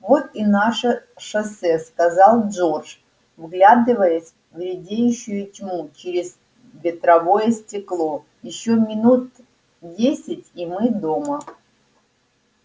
вот и наше шоссе сказал джордж вглядываясь в редеющую тьму через ветровое стекло ещё минут десять и мы дома